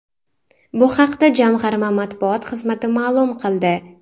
Bu haqda jamg‘arma matbuot xizmati ma’lum qildi .